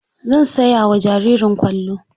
Zan saya wa jaririn kwallo.